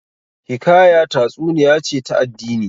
Hikaya tatsuniya ce ta addini